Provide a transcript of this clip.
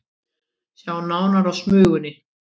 Sjá nánar á Smugunni